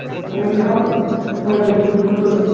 ও বললে হবে একটু টুকুস করে